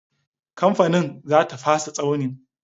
Kamfani za ta fasa tsauni.